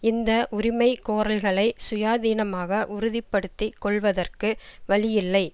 இந்த உரிமை கோரல்களை சுயாதீனமாக உறுதி படுத்தி கொள்வதற்கு வழியில்லை